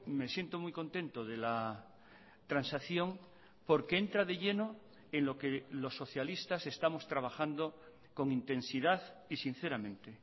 me siento muy contento de la transacción porque entra de lleno en lo que los socialistas estamos trabajando con intensidad y sinceramente